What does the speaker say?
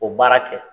O baara kɛ